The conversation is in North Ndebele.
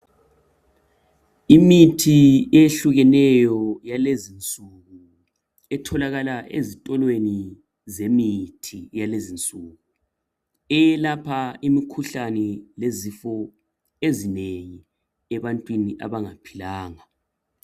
Imithi eyehlukeneyo yalezi insuku, etholakala ezitolweni zemithi yalezi insuku eyelapha imkhuhlane lezifo ezinengi ebantwini abangaphilanga.